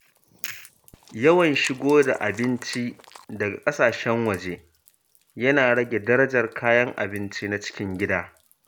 Yawan shigo da abinci daga ƙasashen waje yana rage darajar kayan abinci na cikin gida.